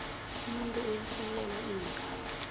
umuntu uyafakelwa iingazi